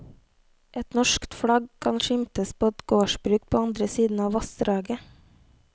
Et norsk flagg kan skimtes på et gårdsbruk på andre siden av vassdraget.